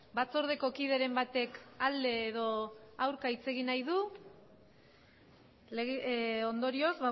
batzordeko kideren batek alde edo aurka hitz egin nahi du ondorioz